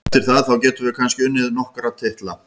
Eftir það, þá getum við kannski unnið okkar titla.